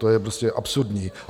To je prostě absurdní.